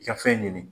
I ka fɛn ɲini